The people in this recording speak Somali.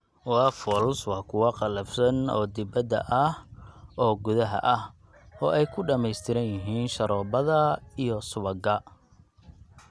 Waffles waa kuwo qallafsan oo dibadda ah oo gudaha ah, oo ay ku dhammaystiran yihiin sharoobada iyo subagga.